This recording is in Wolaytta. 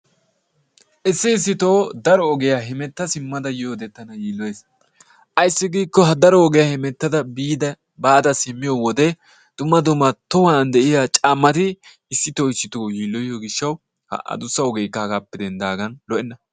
Issi issitoo daro ogiya hemetta simmada yiyode tana yiilloyees. Ayssi giikko ha daro ogiya hemettada baada simmiyo wode dumma dumma tohuwan de'iya caammati issitoo issitoo yiilloyiyo gishshawu adussa ogeekka hagaappe denddaagan lo"enna.